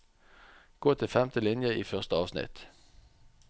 Gå til femte linje i første avsnitt